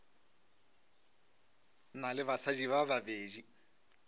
na le basadi ba babedi